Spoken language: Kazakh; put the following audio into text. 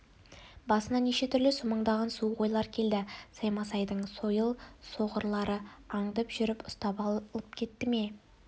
басына неше түрлі сумаңдаған суық ойлар келді саймасайдың сойыл соғарлары аңдып жүріп ұстап алып кетті ме